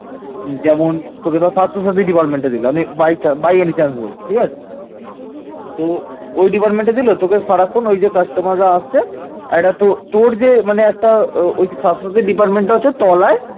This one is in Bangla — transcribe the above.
তো ওই department দিলে তোকে সারাক্ষণ ওই যে customer আসছে একটা তোর যে মানে একটা ওই স্বাস্থ্য সাথী department আছে তোলায়